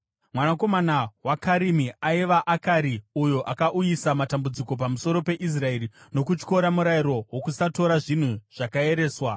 Mwanakomana waKarimi aiva: Akari, uyo akauyisa matambudziko pamusoro peIsraeri nokutyora murayiro wokusatora zvinhu zvakaereswa.